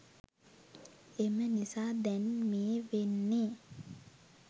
එම නිසා දැන් මේ වෙන්නේ